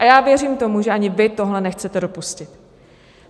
A já věřím tomu, že ani vy tohle nechcete dopustit.